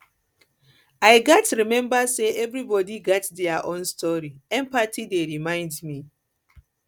i gats remember say everybody gats their own story empathy dey remind me